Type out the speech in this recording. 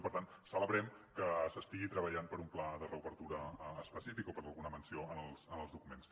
i per tant celebrem que s’estigui treballant per un pla de reobertura específic o per alguna menció en els documents